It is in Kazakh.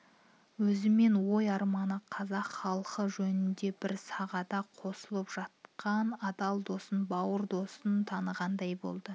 өзімен ой-арманы қазақхалқы жөнінде бір сағада қосылып жатқан адал досын бауыр досын танығандай болады